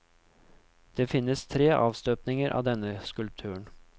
Det finnes tre avstøpninger av denne skulpturen.